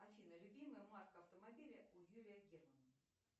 афина любимая марка автомобиля у юрия герман